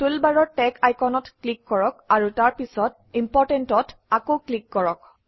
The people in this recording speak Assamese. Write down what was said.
টুলবাৰৰ টেগ আইকনত ক্লিক কৰক আৰু তাৰ পিছত Important অত আকৌ ক্লিক কৰক